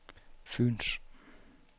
Fyens